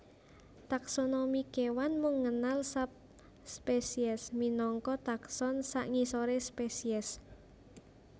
Taksonomi kéwan mung ngenal subspesies minangka takson sangisoré spesies